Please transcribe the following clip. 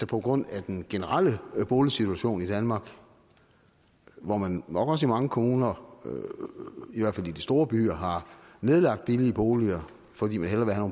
på grund af den generelle boligsituation i danmark hvor man nok også i mange kommuner i hvert fald i de store byer har nedlagt billige boliger fordi man hellere vil have